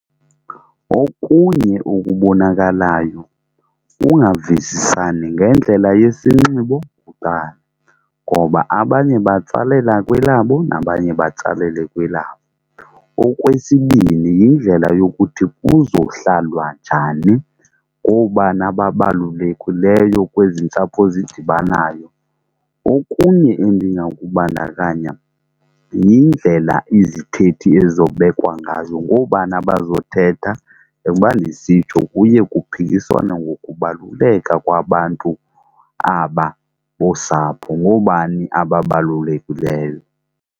Okunye okubonakalayo kukungavisisani ngendlela yesinxibo kuqala ngoba abanye batsalela kwelabo nabanye batsalele kwelabo. Okwesibini, yindlela yokuthi kuzohlalwa njani, ngoobani ababalulekileyo kwezi ntsapho zidibanayo. Okunye endingakubandakanya yindlela izithethi ezizobekwa ngazo, ngoobani abazothetha njengoba ndisitsho kuye kuphikiswane ngokubaluleka kwabantu aba bosapho. Ngoobani ababalulekileyo.